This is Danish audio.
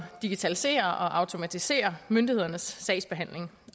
digitalisere og automatisere myndighedernes sagsbehandling